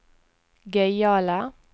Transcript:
gøyale